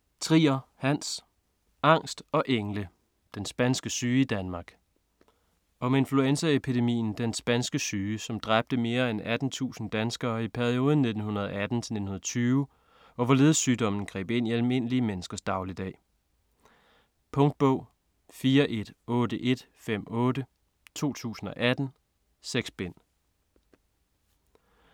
Trier, Hans: Angst og engle: den spanske syge i Danmark Om influenzaepidemien den spanske syge som dræbte mere end 18.000 danskere i perioden 1918-1920, og hvorledes sygdommen greb ind i almindelige menneskers dagligdag. Punktbog 418158 2018. 6 bind.